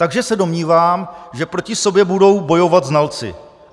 Takže se domnívám, že proti sobě budou bojovat znalci.